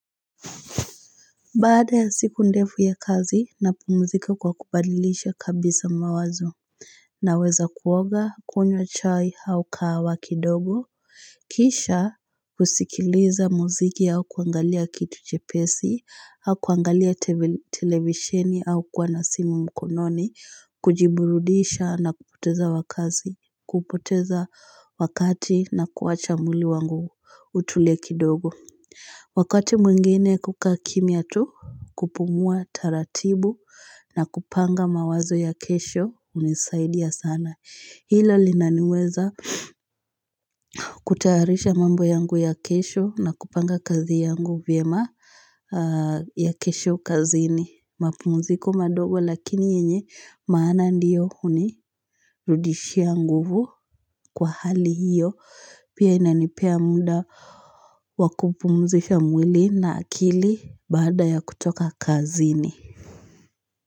Baada ya siku ndefu ya kazi napumuzika kwa kubadilisha kabisa mawazo Naweza kuoga kunywa chai au kahawa kidogo Kisha kusikiliza muziki au kuangalia kitu chepesi au kuangalia televisheni au kuwa na simu mkononi kujiburudisha na kupoteza wakazi, kupoteza wakati na kuacha mwili wangu utulie kidogo Wakati mwingine kukaa kimya tu kupumua taratibu na kupanga mawazo ya kesho hunisaidia sana Hilo linaniweza kutayarisha mambo yangu ya kesho na kupanga kazi yangu vyema ya kesho kazini mapumziko madogo lakini yenye maana ndiyo unirudishia nguvu kwa hali hiyo Pia inanipea muda wa kupumzisha mwili na akili baada ya kutoka kazini.